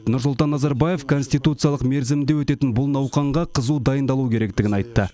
нұрсұлтан назарбаев конституциялық мерзімде өтетін бұл науқанға қызу дайындалу керектігін айтты